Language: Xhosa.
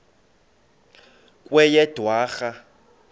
kweyedwarha